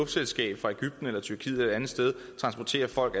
selskab fra egypten eller tyrkiet eller et andet sted transporterer folk